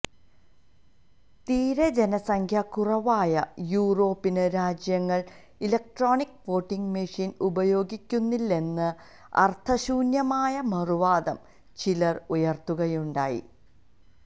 തീരെ ജനസംഖ്യ കുറവായ യൂറോപ്യന് രാജ്യങ്ങളില് ഇലക്ട്രോണിക് വോട്ടിങ് മെഷീന് ഉപയോഗിക്കുന്നില്ലേ എന്ന അര്ത്ഥശൂന്യമായ മറുവാദം ചിലര് ഉയര്ത്തുകയുണ്ടായി